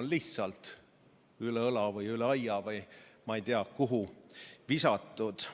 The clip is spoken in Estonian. on lihtsalt üle õla või üle aia või ma ei tea kuhu visatud.